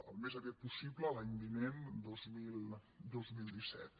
al més aviat possible l’any vinent dos mil disset